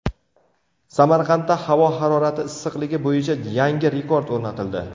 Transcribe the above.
Samarqandda havo harorati issiqligi bo‘yicha yangi rekord o‘rnatildi.